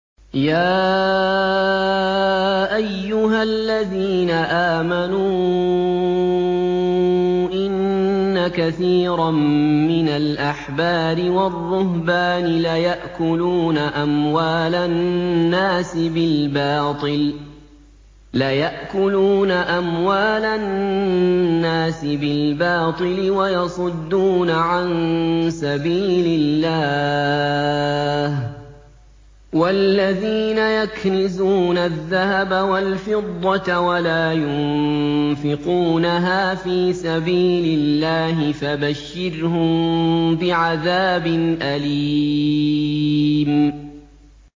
۞ يَا أَيُّهَا الَّذِينَ آمَنُوا إِنَّ كَثِيرًا مِّنَ الْأَحْبَارِ وَالرُّهْبَانِ لَيَأْكُلُونَ أَمْوَالَ النَّاسِ بِالْبَاطِلِ وَيَصُدُّونَ عَن سَبِيلِ اللَّهِ ۗ وَالَّذِينَ يَكْنِزُونَ الذَّهَبَ وَالْفِضَّةَ وَلَا يُنفِقُونَهَا فِي سَبِيلِ اللَّهِ فَبَشِّرْهُم بِعَذَابٍ أَلِيمٍ